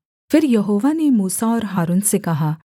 फिर यहोवा ने मूसा और हारून से कहा